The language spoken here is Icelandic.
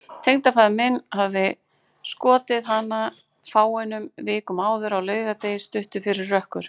Tengdafaðir minn hafði skotið hana fáeinum vikum áður, á laugardegi, stuttu fyrir rökkur.